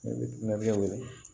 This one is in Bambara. Ne bɛ na o ye